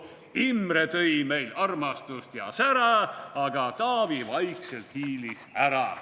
/ Imre tõi meil armastust ja sära, / aga Taavi vaikselt hiilis ära.